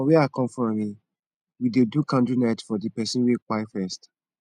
for wia i kom from eh we dey do candlenite for di person wey kpai first